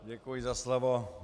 Děkuji za slovo.